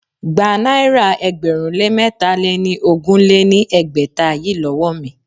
Gba náírà ẹgbẹ̀rún lé mẹ́tà lé ní ogún lé ní ẹgbẹ́ta yìí lówó mi!